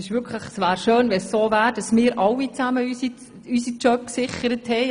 Es wäre schön, wenn alle unsere Jobs «auf Dauer» gesichert wären.